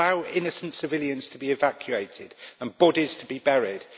Allow innocent civilians to be evacuated and bodies to be buried.